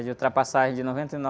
É de ultrapassagem de noventa e